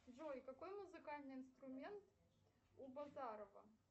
джой какой музыкальный инструмент у базарова